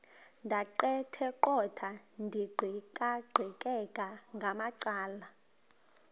ndaqetheqotha ndiqikaqikeka ngamacala